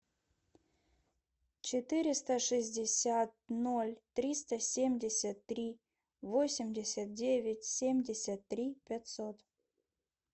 четыреста шестьдесят ноль триста семьдесят три восемьдесят девять семьдесят три пятьсот